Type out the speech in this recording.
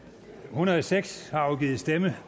hundrede og seks har afgivet stemme